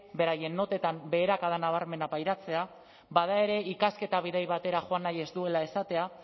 beraien notetan beherakada nabarmena pairatzea bada ere ikasketa bidai batera joan nahi ez duela esatea